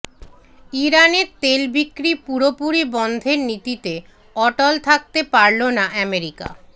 ইরানের তেল বিক্রি পুরোপুরি বন্ধের নীতিতে অটল থাকতে পারল না আমেরিকা